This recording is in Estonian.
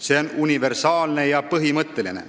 See on universaalne ja põhimõtteline.